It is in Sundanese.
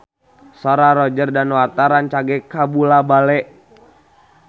Sora Roger Danuarta rancage kabula-bale